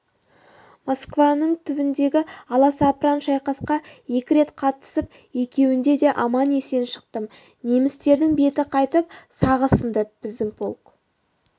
москваның түбіндегі аласапыран шайқасқа екі рет қатысып екеуінде де аман-есен шықтым немістердің беті қайтып сағы сынды біздің полк